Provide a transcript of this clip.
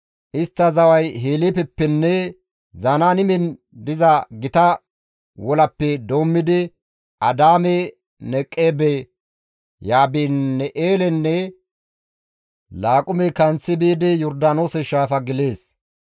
Istta zaway Heleefeppenne Zanaanimen diza gita wolappe doommidi Adaame-Neqeebe, Yaabin7eelenne Laaqume kanththi biidi Yordaanoose shaafa gelees.